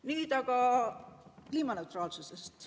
Nüüd aga kliimaneutraalsusest.